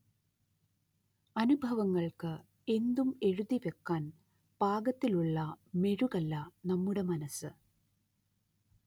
അനുഭവങ്ങൾക്ക് എന്തും എഴുതിവക്കാൻ പാകത്തിലുള്ള മെഴുകല്ല നമ്മുടെ മനസ്സ്